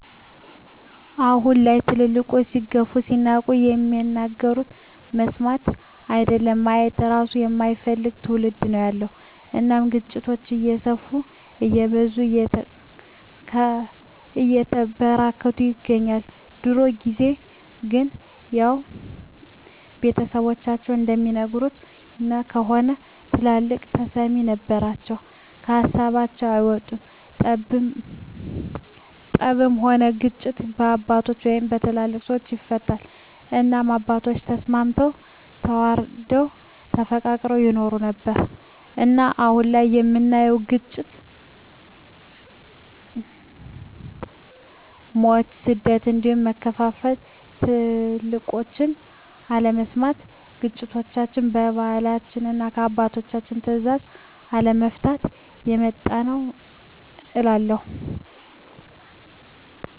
አሁን ላይ ትልልቆች ሲገፉ ሲናቁ የሚናገሩትን መስማት አይደለም ማየት እራሱ የማይፈልግ ትዉልድ ነዉ ያለዉ እናም ግጭቶች እየሰፉ እየበዙ እየተበራከቱ ይገኛል። በድሮ ጊዜ ግን ያዉ ቤተሰቦቻችን እንደሚነግሩን ከሆነ ትልልቆች ተሰሚነት ነበራቸዉ ከሀሳባቸዉ አይወጡም ጠብም ሆነ ግጭት በአባቶች(በትልልቅ ሰወች) ይፈታል እናም አባቶቻችን ተስማምተዉ ተዋደዉ ተፋቅረዉ ይኖሩ ነበር። እናም አሁን ላይ የምናየዉ ግጭ፣ ሞት፣ ስደት እንዲሁም መከፋፋል ትልቆችን አለመስማት ግጭቶችችን በባህላችንና እና በአባቶች ትእዛዝ አለመፍታት የመጣብን ነዉ እላለሁ።